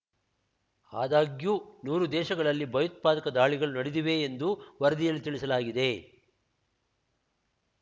ಆದಾಗ್ಯೂ ನೂರು ದೇಶಗಳಲ್ಲಿ ಭಯೋತ್ಪಾದಕ ದಾಳಿಗಳು ನಡೆದಿವೆ ಎಂದು ವರದಿಯಲ್ಲಿ ತಿಳಿಸಲಾಗಿದೆ